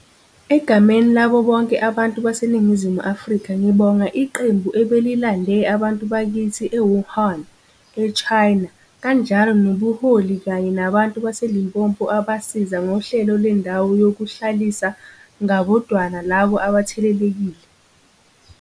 Egameni labo bonke abantu baseNingizimu Afrika ngibonga iqembu ebelilande abantu bakithi e-Wuhan, e-China, kanjalo nobuholi kanye nabantu baseLimpopo abasiza ngohlelo lendawo yokuhlalisa ngabodwana labo abathelelekile.